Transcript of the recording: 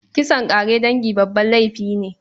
Kisan ƙare dangi babban laifi ne.